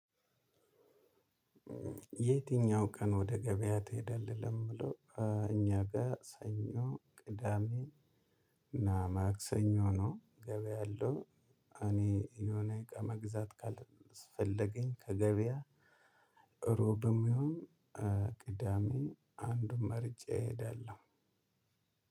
የትኛው ቀን ወደ ገበያ ትሄዳለህ? ለሚለው እኛ ጋር ሰኞ ቅዳሜ እና ማክሰኞ ነው ገበያ ያለው። እኔ የሆነ እቃ መግዛት ካልሰፈለገኝ ከገበያ ሮብም ይሁን። ቅዳሜ አንዱን መርጬ እሄዳለሁ።